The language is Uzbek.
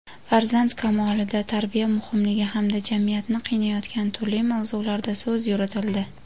farzand kamolida tarbiya muhimligi hamda jamiyatni qiynayotgan turli mavzularda so‘z yuritildi.